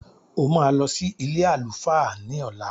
O máa lọ sí ilé àlùfáà ní ọ̀la.